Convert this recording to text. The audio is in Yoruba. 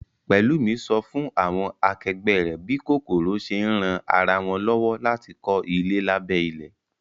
Pẹ̀lúmi sọ fún àwọn akẹgbẹ́ rẹ̀ bí kòkòrò ṣe ń ran ara wọn lọ́wọ́ láti kọ́ ilé lábẹ́ ilẹ̀